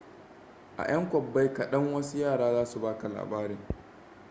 a 'yan kwabbai kadan wasu yara za su ba ka labarin